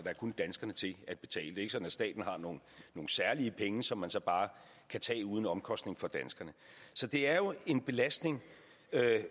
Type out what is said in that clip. er kun danskerne til at betale ikke sådan at staten har nogle særlige penge som man så bare kan tage uden omkostning for danskerne så det er jo en belastning